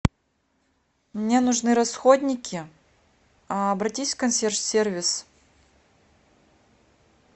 мне нужны расходники обратись в консьерж сервис